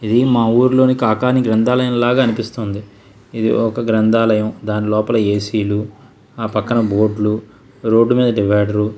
ఇది మా వురిలోని కాకాని గ్రంధాలయంలాగా అనిపిస్తుంది ఇది ఒక గ్రంధాలయం దాని లోపల ఏసీ లు ఆ పక్కన బోర్డు లు రోడ్ మీద డివైడర్ --